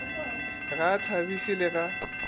ga a thabiše le ga